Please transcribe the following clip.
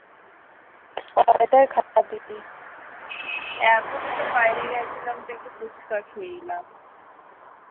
এখনই তো বাইরে গিয়েছিলাম তো ফুচকা খেলে এলাম।